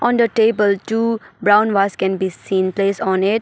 On the table two brown vase can be seen placed on it.